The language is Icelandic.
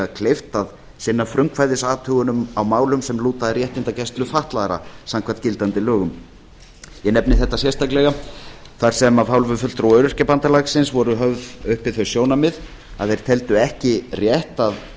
kleift að sinna frumkvæðisathugunum á málum sem lúta að réttindagæslu fatlaðra samkvæmt gildandi lögum ég nefni þetta sérstaklega þar sem af hálfu fulltrúa öryrkjabandalagsins voru höfð uppi þau sjónarmið að þeir teldu ekki rétt að